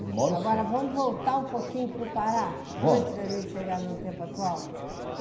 E moro só Agora, vamos voltar um pouquinho para o Pará, antes de a gente chegar no tempo atual.